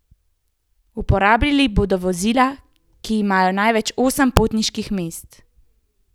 Uporabljali bodo vozila, ki imajo največ osem potniških mest.